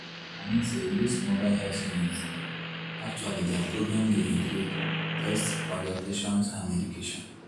i mean say doz mobile health units dem actually their programs dey include tests consultations and medication.